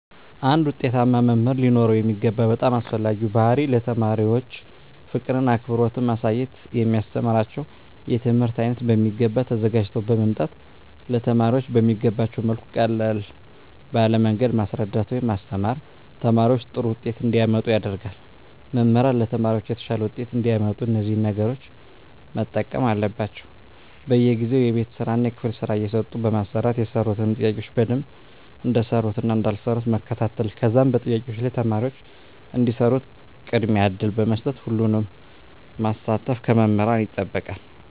አንድ ዉጤታማ መምህር ሊኖረዉ የሚገባ በጣም አስፈላጊዉ ባህሪይ ለተማሪዎች ፍቅርን አክብሮትን ማሳየት የሚያስተምራቸዉን የትምህርት አይነት በሚገባ ተዘጋጅተዉ በመምጣት ለተማሪዎች በሚገቧቸዉ መልኩ ቀለል ባለ መንገድ ማስረዳት ወይም ማስተማር ተማሪዎች ጥሩ ዉጤት እንዲያመጡ ያደርጋል መምህራን ለተማሪዎች የተሻለ ዉጤት እንዲያመጡ እነዚህን ነገሮች መጠቀም አለባቸዉ በየጊዜዉ የቤት ስራእና የክፍል ስራ እየሰጡ በማሰራት የሰሩትን ጥያቄዎች በደንብ እንደሰሩትእና እንዳልሰሩት መከታተል ከዛም በጥያቄዎች ላይ ተማሪዎች እንዲሰሩት ቅድሚያ እድል በመስጠት ሁሉንም ማሳተፍ ከመምህራን ይጠበቃል